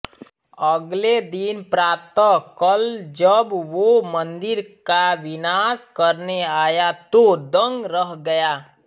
अगले दिन प्रातः कल जब वो मंदिर का विनाश करने आया तो दंग रह गया